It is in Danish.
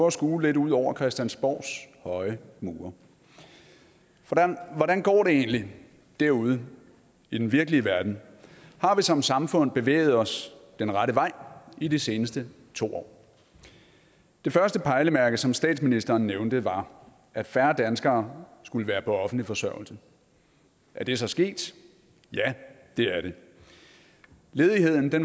at skue lidt ud over christiansborgs høje mure for hvordan går det egentlig derude i den virkelige verden har vi som samfund bevæget os den rette vej i de seneste to år det første pejlemærke som statsministeren nævnte var at færre danskere skulle være på offentlig forsørgelse er det så sket ja det er det ledigheden var